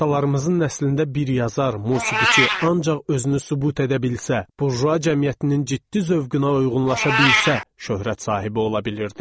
Atalarımızın nəslində bir yazar, musiqiçi ancaq özünü sübut edə bilsə, burjua cəmiyyətinin ciddi zövqünə uyğunlaşa bilsə şöhrət sahibi ola bilirdi.